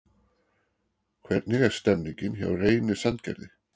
Hvernig er stemningin hjá Reyni Sandgerði?